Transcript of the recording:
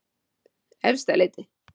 Efstaleiti